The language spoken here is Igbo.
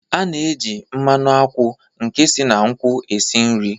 A na-eji mmanụ akwụ nke si na nkwụ esi nri.